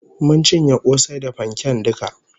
Mun cinye kosai da fanken duka